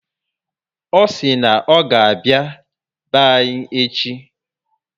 O si na oga abịa be anyị echi